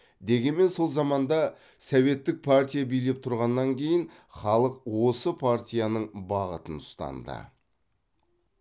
дегенмен сол заманда советтік партия билеп тұрғаннан кейін халық осы партияның бағытын ұстанды